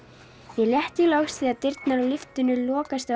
mér létti loks þegar dyrnar á lyftunni lokast á